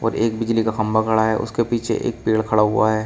और एक बिजली का खंभा खड़ा है और उसके पीछे एक पेड़ खड़ा हुआ है।